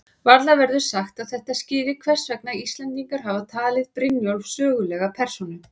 Varla verður sagt að þetta skýri hvers vegna Íslendingar hafa talið Brynjólf sögulega persónu.